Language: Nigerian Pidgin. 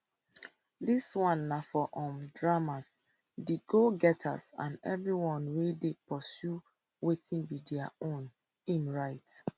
dis one na for um dreamers di go getters and everyone wey dey pursue wetin be dia ownim write